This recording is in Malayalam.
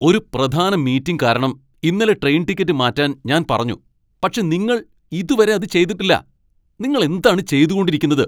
ഒരു പ്രധാന മീറ്റിംഗ് കാരണം ഇന്നലെ ട്രെയിൻ ടിക്കറ്റ് മാറ്റാൻ ഞാൻ പറഞ്ഞു, പക്ഷേ നിങ്ങൾ ഇതുവരെ അത് ചെയ്തിട്ടില്ല, നിങ്ങൾ എന്താണ് ചെയ്തു കൊണ്ടിരിക്കുന്നത്?